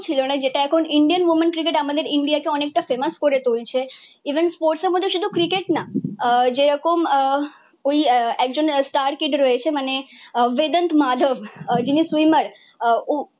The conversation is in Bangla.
ছিল না। যেটা এখন ইন্ডিয়ান ওমেন ক্রিকেট আমাদের ইন্ডিয়াকে অনেকটা ফেমাস করে তুলছে। even sports এর মধ্যে শুধু ক্রিকেট না আহ যেরকম আহ ঐ একজন star kid রয়েছে মানে বেদান্ত মাধব যিনি সুইমার আহ